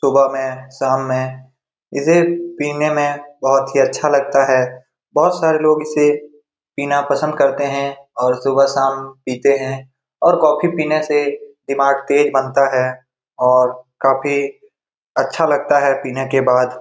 सुबह में शाम में इसे पीने में बहुत ही अच्छा लगता है बहुत सारे लोग इसे पीना पसंद करते हैं और सुबह शाम पीते हैं और कॉफ़ी पीने से दिमाग तेज बनता है और काफी अच्छा लगता है पीने के बाद ।